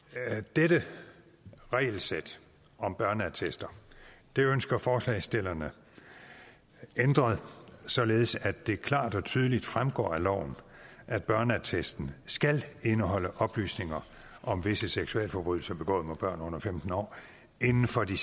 dette regelsæt om børneattester ønsker forslagsstillerne ændret således at det klart og tydeligt fremgår af loven at børneattesten skal indeholde oplysninger om visse seksualforbrydelser begået mod børn under femten år inden for de